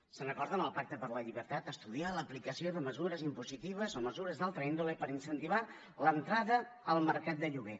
se’n recorden del pacte per la llibertat estudiar l’aplicació de mesures impositives o mesures d’altra índole per incentivar l’entrada al mercat de lloguer